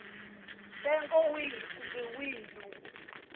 ntsengo wihi kumbe wihi lowu